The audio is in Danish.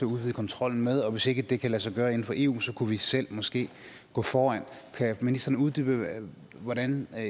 udvide kontrollen med og hvis ikke det kan lade sig gøre inden for eu kunne vi selv måske gå foran kan ministeren uddybe hvordan